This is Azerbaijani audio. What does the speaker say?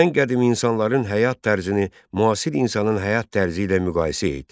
Ən qədim insanların həyat tərzini müasir insanın həyat tərzi ilə müqayisə et.